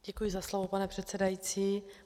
Děkuji za slovo, pane předsedající.